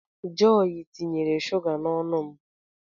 Jọy tinyere shụga n'ọnụ m